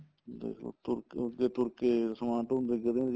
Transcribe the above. ਦੇਖਲੋ ਤੁਰ ਕੇ ਅੱਗੇ ਤੁਰ ਕੇ ਸਮਾਨ ਢੋਂਦੇ ਸੀਗੇ